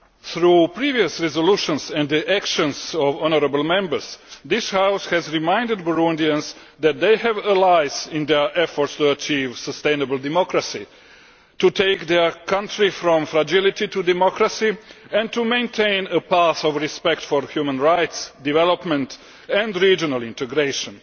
Through previous resolutions and the actions of honourable Members, this House has reminded Burundians that they have allies in their efforts to achieve sustainable democracy, to take their country from fragility to democracy and to maintain a path of respect for human rights, development and regional integration.